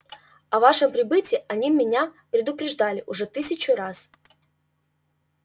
о ваше прибытии они меня предупреждали уже тысячу раз